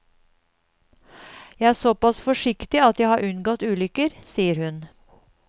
Jeg er såpass forsiktig at jeg har unngått ulykker, sier hun.